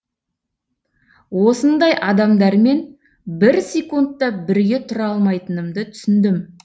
осындай адамдармен бір секунд та бірге тұра алмайтынымды түсіндім